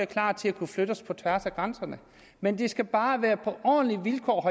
klar til at kunne flytte os på tværs af grænserne men det skal bare være på ordentlige vilkår